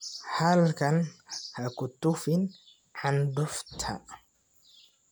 Halkan ha ku tufin candufta.